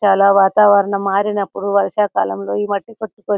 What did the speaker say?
చాలా వాతావరణం మారినప్పుడు వైశాకాలంలో ఈ మధ్య ప్రతి --